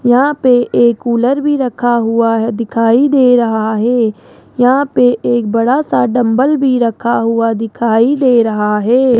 यहां पे एक कूलर भी रखा हुआ है दिखाई दे रहा है यहां पे एक बड़ा सा डंबल भी रखा हुआ दिखाई दे रहा है।